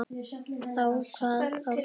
Þá kvað Árni